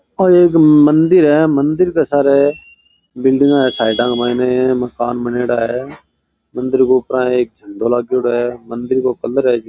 ओ एक मंदिर है मंदिर के सार बिल्डिंग है साइड के माइन मकान बनेड़ा है मंदिर के ऊपर एक झण्डा लागेडो है मंदिर को कलर --